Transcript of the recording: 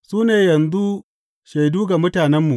Su ne yanzu shaidu ga mutanenmu.